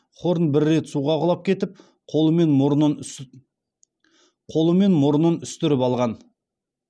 хорн бір рет суға құлап кетіп қолы мен мұрнын үстіріп алған